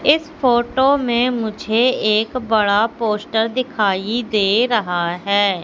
इस फोटो में मुझे एक बड़ा पोस्टर दिखाइए दे रहा है।